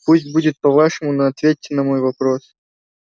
пусть будет по-вашему но ответьте на мой вопрос